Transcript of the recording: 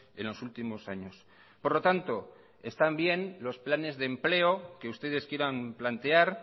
en los últimos años por lo tanto están bien los planes de empleo que ustedes quieran plantear